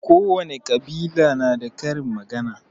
Kowane ƙabila na da karin magana